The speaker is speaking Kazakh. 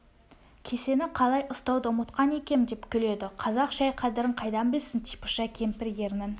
кесені қалай ұстауды ұмытқан екем деп күледі қазақ шай қадірін қайдан білсін типыша кемпір ернін